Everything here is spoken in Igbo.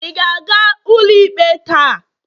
ị ga-aga ụlọikpe taa?